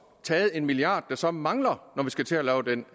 taget en milliard der så mangler når vi skal til at lave den